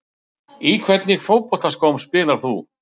Í hvernig fótboltaskóm spilar þú?